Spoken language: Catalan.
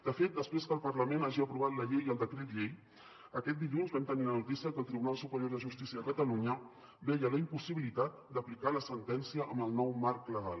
de fet després que el parlament hagi aprovat la llei i el decret llei aquest dilluns vam tenir la notícia que el tribunal superior de justícia de catalunya veia la impossibilitat d’aplicar la sentència amb el nou marc legal